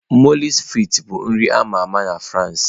Mọulsị frịts bụ nri ama ama na France.